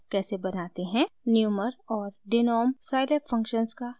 * numer और denom scilab functions का कैसे अध्ययन करते हैं